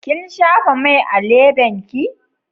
Kin shafa mai a lebenki?